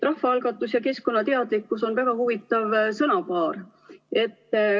Rahvaalgatus ja keskkonnateadlikkus on väga huvitav sõnapaar.